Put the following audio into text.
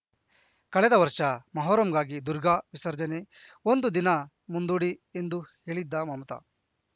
ಕಳೆದ ವರ್ಷ ಮೊಹರಂಗಾಗಿ ದುರ್ಗಾ ವಿಸರ್ಜನೆ ಒಂದು ದಿನ ಮುಂದೂಡಿ ಎಂದು ಹೇಳಿದ್ದ ಮಮತಾ